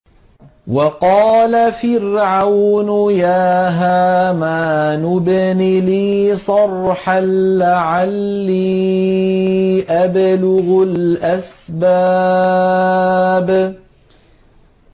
وَقَالَ فِرْعَوْنُ يَا هَامَانُ ابْنِ لِي صَرْحًا لَّعَلِّي أَبْلُغُ الْأَسْبَابَ